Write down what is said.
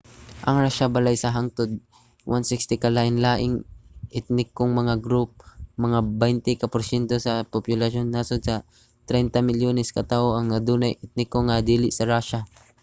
ang rusya balay sa hangtod 160 ka lain-laing etnikong mga group. mga 20 ka porsyento sa populasyon sa nasod 30 milyones ka tawo ang adunay etniko nga dili sa rusya